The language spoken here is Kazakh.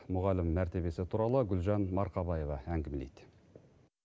мұғалімнің мәртебесі туралы гүлжан марқабаева әңгімелейді